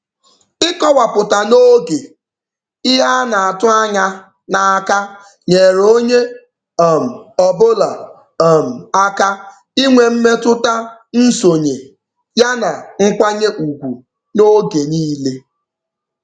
Ịkọwapụta n'oge ihe a na-atụ anya n'aka nyeere onye um ọbụla um aka inwe mmetụta nsonye ya na nkwanye ugwu n'oge niile.